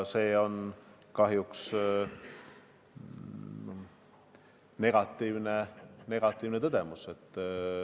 See on kahjuks negatiivne tõdemus.